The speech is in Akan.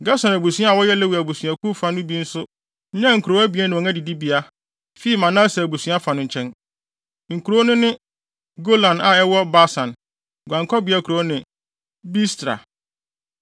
Gerson abusua a wɔyɛ Lewi abusuakuw no fa bi no nso nyaa nkurow abien ne wɔn adidibea fii Manase abusua fa no nkyɛn. Nkurow no ne Golan a ɛwɔ Basan (guankɔbea kuropɔn) ne Beestra.